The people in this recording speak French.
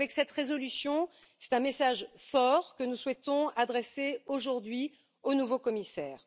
Avec cette résolution, c'est un message fort que nous souhaitons adresser aujourd'hui au nouveau commissaire.